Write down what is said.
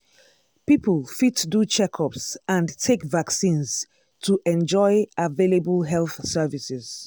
people fit do checkups and take vaccines to enjoy available health services.